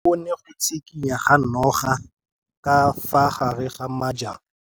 O bone go tshikinya ga noga ka fa gare ga majang.